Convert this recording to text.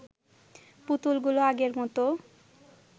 পুতুলগুলো আগের মত